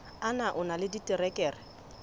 na o na le diterekere